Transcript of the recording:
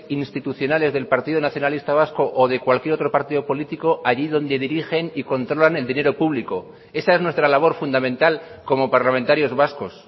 institucionales del partido nacionalista vasco o de cualquier otro partido político allí donde dirigen y controlan el dinero público esa es nuestra labor fundamental como parlamentarios vascos